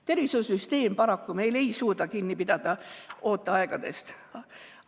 Tervishoiusüsteem ei suuda meil paraku ooteaegadest kinni pidada.